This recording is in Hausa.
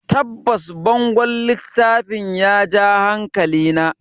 Tabbas, bangon littafin ya ja hankalina.